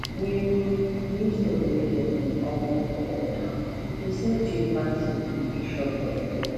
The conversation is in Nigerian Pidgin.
new new store wey dem open for town dey sell cheap pass d big shop for area